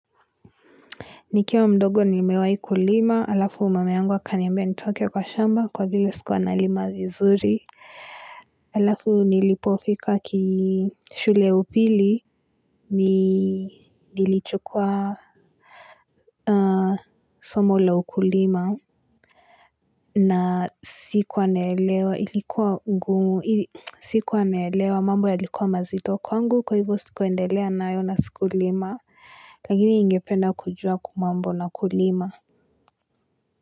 Nikiwa mdogo ni mewai kulima, alafu mama yangu akaniambia nitoke kwa shamba kwa vile sikuwa na lima vizuri. Alafu nilipofika kishule upili, nilichukua somo la ukulima na sikuwa naelewa, ilikuwa ngumu sikuwa naelewa mambo ya likuwa mazito kwangu, kwa hivo sikuendelea nayo na siku lima, lakini ningependa kujua kumambo na kulima.